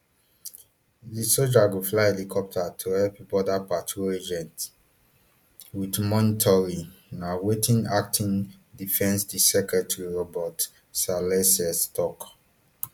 di sojas go fly helicopters to help border patrol agents wit monitoring na wetin acting defense secretary robert salesses tok